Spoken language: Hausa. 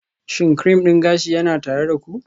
Shin cream din gashi yana tare da ku?